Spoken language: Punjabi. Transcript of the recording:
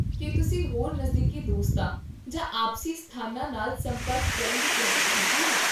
ਕੀ ਤੁਸੀਂ ਹੋਰ ਨਜ਼ਦੀਕੀ ਦੋਸਤਾਂ ਜਾਂ ਆਪਸੀ ਸਥਾਨਾਂ ਨਾਲ ਸੰਪਰਕ ਕਰਨ ਦੀ ਕੋਸ਼ਿਸ਼ ਕੀਤੀ ਹੈ?